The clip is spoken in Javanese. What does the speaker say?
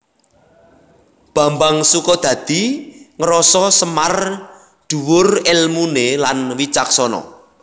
Bambang Sukodadi ngrasa Semar dhuwur èlmuné lan wicaksana